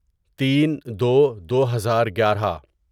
تین دو دوہزار گیارہ